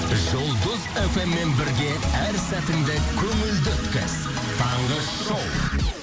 жұлдыз фммен бірге әр сәтіңді көңілді өткіз таңғы шоу